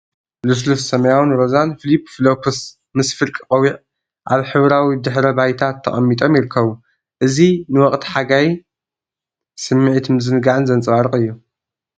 ልስሉስ፡ ሰማያውን ሮዛን ፍሊፕ-ፍሎፕስ ምስ ፍርቂ ቆቢዕ፡ ኣብ ሕብራዊ ድሕረ ባይታ ተቐሚጦም ይርከቡ። እዚ ንወቕቲ ሓጋይን ስምዒት ምዝንጋዕን ዘንጸባርቕ እዩ።